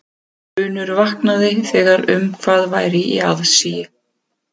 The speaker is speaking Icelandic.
Grunur vaknaði þegar um hvað væri í aðsigi.